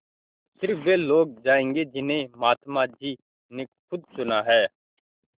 स़िर्फ वे लोग जायेंगे जिन्हें महात्मा जी ने खुद चुना है